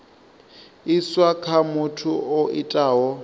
iswa kha muthu o itaho